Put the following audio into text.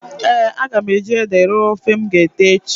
Eeǃ A ga m eji ede rọọ ofe m g'ete echi.